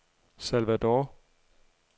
Salvador